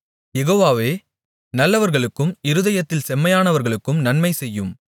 யெகோவாவே நல்லவர்களுக்கும் இருதயத்தில் செம்மையானவர்களுக்கும் நன்மை செய்யும்